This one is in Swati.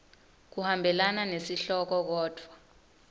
kuhambelana nesihloko kodvwa